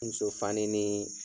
Muso fani nii